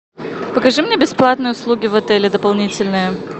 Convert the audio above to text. покажи мне бесплатные услуги в отеле дополнительные